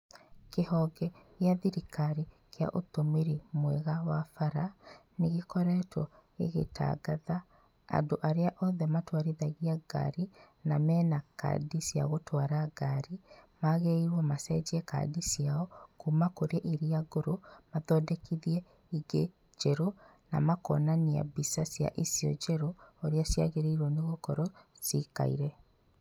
Kĩhonge gĩa thirikari kĩa ũtũmĩri mwega wa bara, nĩ gĩkoretwo gĩgĩtangatha, andũ arĩa othe matwarithagia ngari na mena kandi cia gũtwara ngari, magĩrĩirwo macenjie kandi ciao, kuma kũrĩ iria ngũrũ, mathondekithie ingĩ njerũ, na makonania mbica cia icio njerũ ũrĩa ciagĩrĩirwo gũkorwo cikaire.